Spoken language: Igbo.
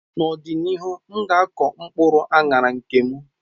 N'ọdịnihu, m ga ako mkpuru anara nke m.